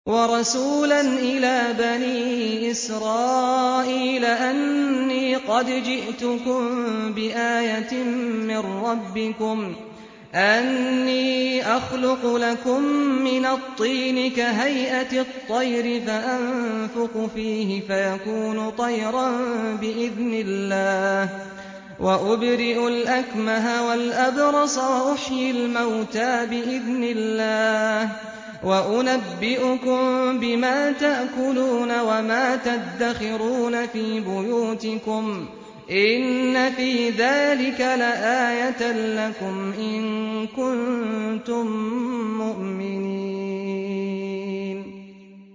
وَرَسُولًا إِلَىٰ بَنِي إِسْرَائِيلَ أَنِّي قَدْ جِئْتُكُم بِآيَةٍ مِّن رَّبِّكُمْ ۖ أَنِّي أَخْلُقُ لَكُم مِّنَ الطِّينِ كَهَيْئَةِ الطَّيْرِ فَأَنفُخُ فِيهِ فَيَكُونُ طَيْرًا بِإِذْنِ اللَّهِ ۖ وَأُبْرِئُ الْأَكْمَهَ وَالْأَبْرَصَ وَأُحْيِي الْمَوْتَىٰ بِإِذْنِ اللَّهِ ۖ وَأُنَبِّئُكُم بِمَا تَأْكُلُونَ وَمَا تَدَّخِرُونَ فِي بُيُوتِكُمْ ۚ إِنَّ فِي ذَٰلِكَ لَآيَةً لَّكُمْ إِن كُنتُم مُّؤْمِنِينَ